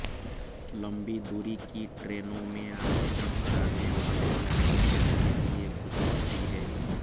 लंबी दुरी की ट्रेनों में आरक्षण कराने वाले यात्रियों के लिए खुशखबरी है